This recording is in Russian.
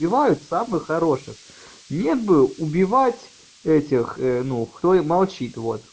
бывают самых хороших нет был убивать этих ну кто молчит вот